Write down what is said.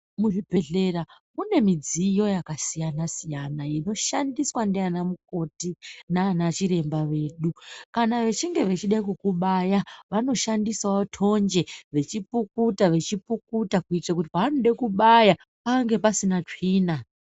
Muzvibhedhlera mune midziyo yakasiyana siyana inoshandiswa ndiana mukoti nana chiremba vedu kana vechinge vechida kukubaya vanoshandisawo tonje vechipukuta vachipukuta kuitire kuti paanode kubaya pange pasina tsvina.